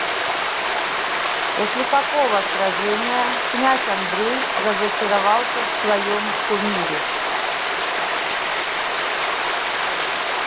после какого сражения князь андрей разочаровался в своем кумире